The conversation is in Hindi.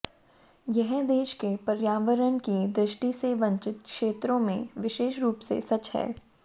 यह देश के पर्यावरण की दृष्टि से वंचित क्षेत्रों में विशेष रूप से सच है